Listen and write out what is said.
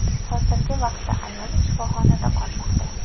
Hozirgi vaqtda ayol shifoxonada qolmoqda.